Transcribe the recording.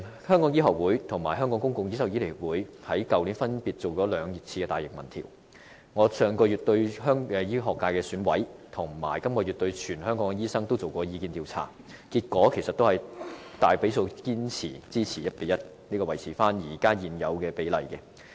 香港醫學會和香港公共醫療醫生協會去年曾分別進行了兩項大型民調，而我在上月和本月亦分別向醫學界選委和全香港醫生進行了意見調查，結果顯示大比數支持維持現有 1：1 的比例。